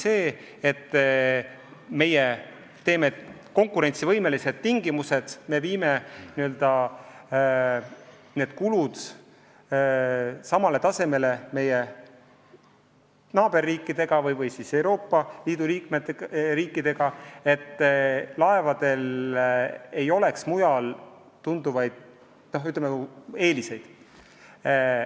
Me tahame kehtestada konkurentsivõimelised tingimused, viia teatud kulud samale tasemele kui naaberriikides ja muudes Euroopa Liidu riikides, et laevadel ei oleks mujal tuntavaid eeliseid.